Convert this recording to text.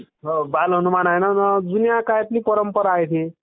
हो बाल हनुमान आहे ना...जुन्या काळातली परंपरा आहे ती